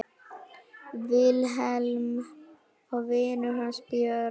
Vilhelm og vinur hans Björn.